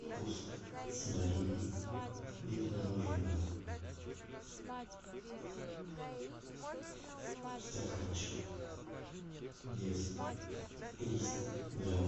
вкус с малиной вид мороженого стаканчик вес триста грамм